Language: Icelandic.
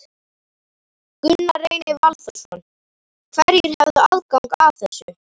Gunnar Reynir Valþórsson: Hverjir hefðu aðgang að þessu?